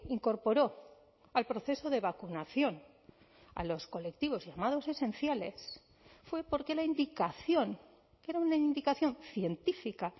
incorporó al proceso de vacunación a los colectivos llamados esenciales fue porque la indicación que era una indicación científica